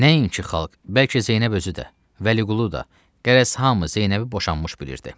Nəinki xalq, bəlkə Zeynəb özü də, Vəliqulu da, qərəz hamı Zeynəbi boşanmış bilirdi.